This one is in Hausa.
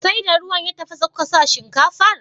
Sai da ruwa ya tafasa kuka sa shinkafar?